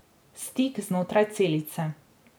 Stik znotraj celice.